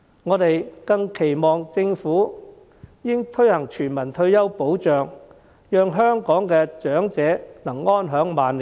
我們更期望政府應推行全民退休保障，讓香港的長者得以安享晚年。